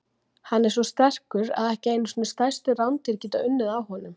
Hann er svo sterkur að ekki einu sinni stærstu rándýr geta unnið á honum.